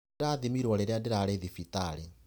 Ndĩrathimirwo rĩrĩa ndĩrarĩ thibitarĩ.